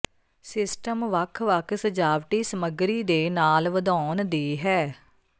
system ਵੱਖ ਵੱਖ ਸਜਾਵਟੀ ਸਮੱਗਰੀ ਦੇ ਨਾਲ ਵਧਾਉਣ ਦੀ ਹੈ